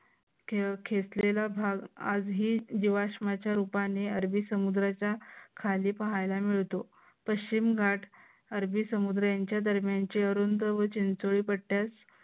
खेचलेला भाग आजही जीवाश्माच्या रूपाने अरबी समुद्राच्या खाली पाहायला मिळतो. पश्चिम घाट अरबी समुद्र यांच्या दरम्यानचे अरुंद व चिंचोळंपट्यास